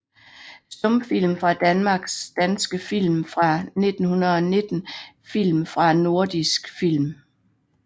Stumfilm fra Danmark Danske film fra 1919 Film fra Nordisk Film